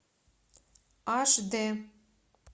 аш дэ